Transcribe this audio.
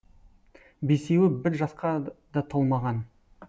бесеуі бір жасқа да толмаған